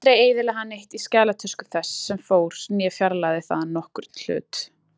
Aldrei eyðilagði hann neitt í skjalatösku þess sem fór né fjarlægði þaðan nokkurn hlut.